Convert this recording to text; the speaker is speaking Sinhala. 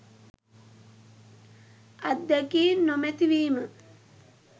අත්දැකීම් නොමැති වීම